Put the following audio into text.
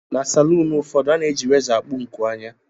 Na salụụnụ ụfọdụ, a na-eji rézọ akpụ nku ányà